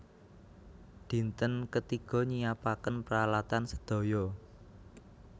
Dinten ketiga nyiapaken pralatan sedaya